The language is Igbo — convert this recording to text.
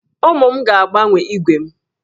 Ụmụ m ga-agbanwe ígwè m